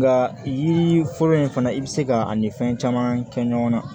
La yiri fɔlɔ in fana i bɛ se ka ani fɛn caman kɛ ɲɔgɔn na